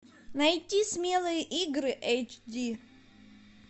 найти смелые игры эйч ди